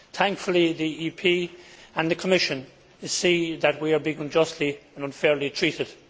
Thankfully, the EP and the Commission see that we are being unjustly and unfairly treated.